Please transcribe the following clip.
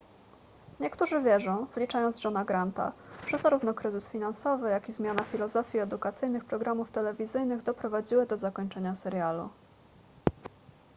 niektórzy wierzą wliczając johna granta że zarówno kryzys finansowy jak i zmiana filozofii edukacyjnych programów telewizyjnych doprowadziły do zakończenia serialu